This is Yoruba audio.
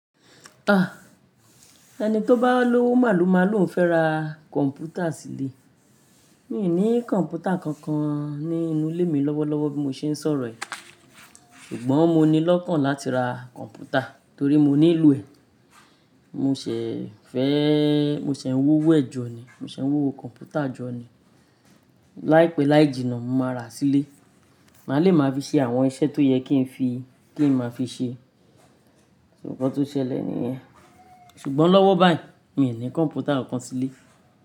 Ah, ẹni tó bá lówó màlo mà lò n fẹ́ ra kọ̀mpútà sílé. Mi ò ní kọ̀mpútà kankan ní inú ilé mi lọ́wọ́lọ́wọ́ bí mo ṣe ń sọ̀rọ̀ i. Ṣùgbọ́n mo ní lọ́kàn láti ra kọ̀mpútà torí mo nílò ẹ̀. Mo ṣẹ̀ fẹ́, mo ṣẹ̀ ń wowo ẹ̀ jọ ni, mo ṣẹ̀ ń wúwo kọ̀mpútà jọ ni. Láìpẹ́ láì jìnnà, mo máa ra a sílé, má lè máa fi ṣe àwọn iṣẹ́ tó yẹ kí n fi, kí n máa fi ṣe. Nkan tó ṣẹlẹ̀ nìyẹn. Ṣùgbọ́n lọ́wọ́ báyìí, mi ò ní kọ̀mpútà kan sílé.